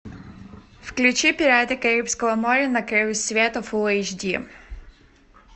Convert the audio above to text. включи пираты карибского моря на краю света фулл эйч ди